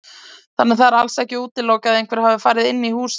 Þannig að það er alls ekki útilokað að einhver hafi farið inn í húsið.